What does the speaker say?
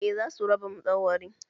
Eh za su raba madauwarin